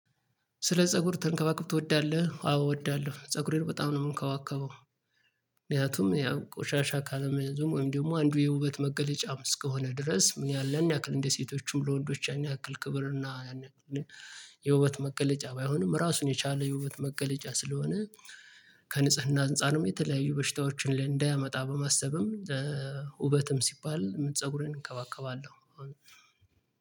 ስለ ፀጉር ተንከባከብ ትወዳለህ? አዎ እወዳለሁ ፀጉሬን በጣም ነው ምንከባከበው። ምክንያቱም ያው ቆሻሻ ካለመያዙም ወይም ደግሞ አንዱ የውበት መገለጫም እስከሆነ ድረስ ምን ያህል ያናክል እንደ ሴቶቹም ለወንዶች ያን ያክል ክብር እና ያን ያክል የውበት መገለጫ ባይሆንም ራሱን የቻለ የውበት መገለጫ ስለሆነ ከንጽህና አንፃርም የተለያዩ በሽታዎችን ላይ እንዳያመጣ በማሰብም ውበትም ሲባል ፀጉሬን እንከባከባለሁ